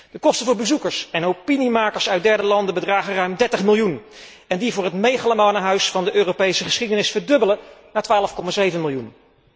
De kosten voor bezoekers en opiniemakers uit derde landen bedragen ruim 30 miljoen en die voor het megalomane Huis van de Europese geschiedenis verdubbelen naar 12,7 miljoen.